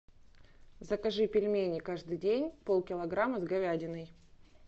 закажи пельмени каждый день пол килограмма с говядиной